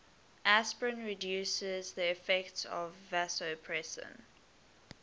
aspirin reduces the effects of vasopressin